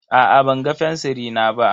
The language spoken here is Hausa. Aa ban ga fensiri na ba.